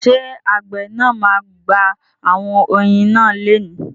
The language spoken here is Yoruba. Ṣé àgbẹ̀ náà ma gba àwọn oyin náà leni?